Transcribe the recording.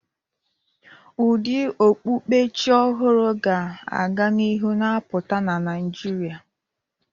Ụdị okpukpe Chi ọhụrụ ga-aga n'ihu na-apụta na Naịjirịa.